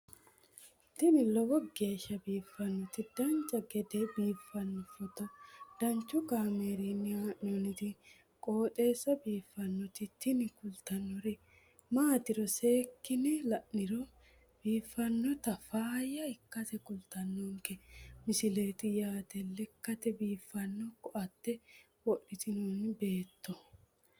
tini lowo geeshsha biiffannoti dancha gede biiffanno footo danchu kaameerinni haa'noonniti qooxeessa biiffannoti tini kultannori maatiro seekkine la'niro biiffannota faayya ikkase kultannoke misileeti yaate lekkate biiffanno koate wodhitinoti beetto